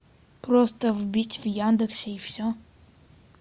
просто вбить в яндексе и все